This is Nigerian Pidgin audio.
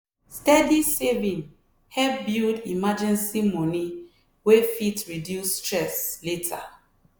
steady saving help build emergency moni wey fit reduce stress later.